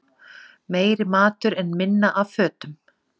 Meiri matur en minna af fötum